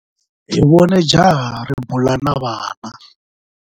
Hi vone jaha ri bula na vana.